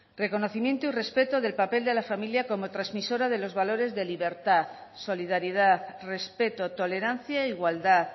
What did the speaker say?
reconocimiento y respeto del papel de la familia como transmisora de los valores de libertad solidaridad respeto tolerancia e igualdad